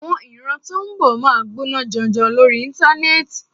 Àwọn ìran tó ń bọ̀ máa gbóná janjan lórí Íńtánẹ́ẹ̀tì.